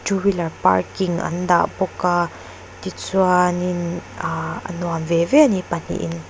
two wheeler parking an dah bawk a tichuanin ahh a nuam veve ani a pahnih in--